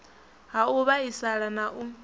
ha u vhaisala na u